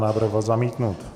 Návrh byl zamítnut.